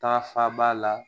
Ta fa b'a la